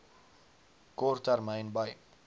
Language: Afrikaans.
kort termyn by